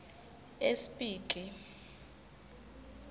espiki